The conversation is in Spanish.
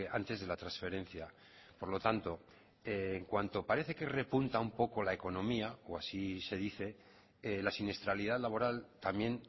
antes de la transferencia por lo tanto en cuanto parece que repunta un poco la economía o así se dice la siniestralidad laboral también